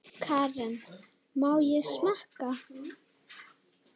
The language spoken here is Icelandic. Karen: Má ég smakka?